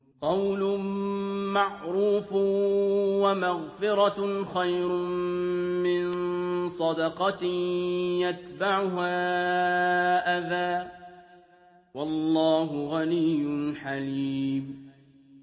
۞ قَوْلٌ مَّعْرُوفٌ وَمَغْفِرَةٌ خَيْرٌ مِّن صَدَقَةٍ يَتْبَعُهَا أَذًى ۗ وَاللَّهُ غَنِيٌّ حَلِيمٌ